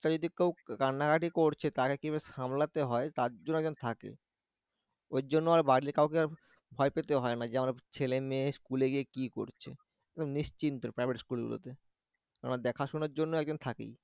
একটা যদি কেউ কান্নাকাটি করছে তাকে কিভাবে সামলাতে হয় তার জন্য একজন থাকে ওর জন্য আর বাড়ির কাউকে ভয় পেতে হয়না যে আমার ছেলে-মেয়ে স্কুলে গিয়ে কি করছে একদম নিশ্চিন্ত private school গুলোতে কেননা দেখাশোনার জন্য একজন থাকে